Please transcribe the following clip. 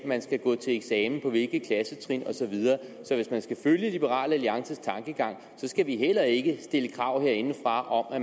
man skal gå til eksamen på hvilke klassetrin og så videre så hvis man skal følge liberal alliances tankegang skal vi heller ikke stille krav herindefra om at